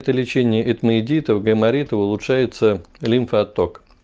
это лечение этмоидита гайморита то улучшается лимфоотток